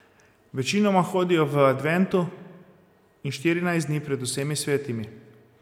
Večinoma hodijo v adventu in štirinajst dni pred vsemi svetimi.